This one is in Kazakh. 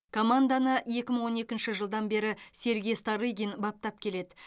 команданы екі мың он екінші жылдан бері сергей старыгин баптап келеді